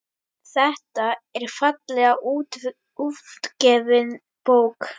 Þetta er fallega útgefin bók.